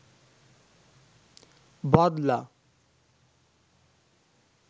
বদলা